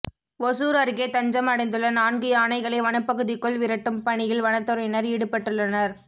ஒசூர் அருகே தஞ்சம் அடைந்துள்ள நான்கு யானைகளை வனப்பகுதிக்குள் விரட்டும் பணியில் வனத்துறையினர் ஈடுபட்டுள்ளனர்